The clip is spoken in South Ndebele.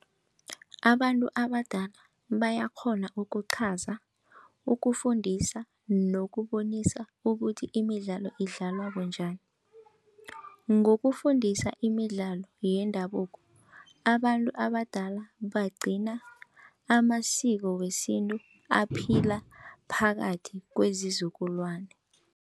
Abantu abadala bayakghona ukuqhaza ukufundisa nokubonisa ukuthi imidlalo idlalwa bunjani. Ngokufundisa imidlalo yendabuko abantu abadala bagcina amasiko wesintu aphila phakathi kwezizukulwani.